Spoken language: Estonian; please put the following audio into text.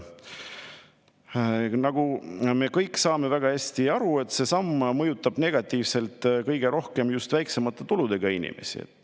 Nagu me kõik saame väga hästi aru, mõjutab see samm negatiivselt kõige rohkem just väiksemate tuludega inimesi.